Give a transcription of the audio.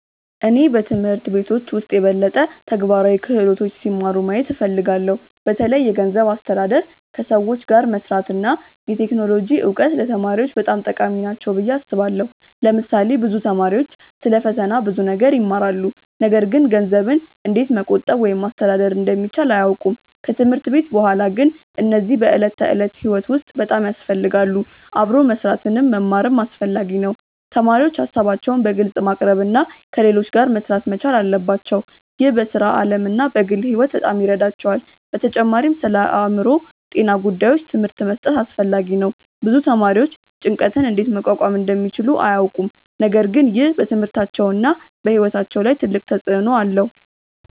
እኔ በትምህርት ቤቶች ውስጥ የበለጠ ተግባራዊ ክህሎቶች ሲማሩ ማየት እፈልጋለሁ። በተለይ የገንዘብ አስተዳደር፣ ከሰዎች ጋር መስራት እና የቴክኖሎጂ እውቀት ለተማሪዎች በጣም ጠቃሚ ናቸው ብዬ አስባለሁ። ለምሳሌ ብዙ ተማሪዎች ስለ ፈተና ብዙ ነገር ይማራሉ፣ ነገር ግን ገንዘብን እንዴት መቆጠብ ወይም ማስተዳደር እንደሚቻል አያውቁም። ከትምህርት ቤት በኋላ ግን እነዚህ በዕለት ተዕለት ሕይወት ውስጥ በጣም ያስፈልጋሉ። አብሮ መስራትንም መማርም አስፈላጊ ነው። ተማሪዎች ሀሳባቸውን በግልጽ ማቅረብ እና ከሌሎች ጋር መሥራት መቻል አለባቸው። ይህ በሥራ ዓለም እና በግል ሕይወት በጣም ይረዳቸዋል። በተጨማሪም ስለአእምሮ ጤና ጉዳዮች ትምህርት መስጠት አስፈላጊ ነው። ብዙ ተማሪዎች ጭንቀትን እንዴት መቋቋም እንደሚችሉ አያውቁም፣ ነገር ግን ይህ በትምህርታቸውና በሕይወታቸው ላይ ትልቅ ተጽእኖ አለው።